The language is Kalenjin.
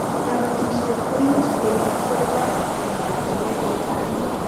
Kabatishet ko much ke ib kwo barak eng' oratinwek che chang'